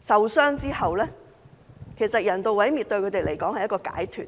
受傷後，人道毀滅對牠們來說是一種解脫。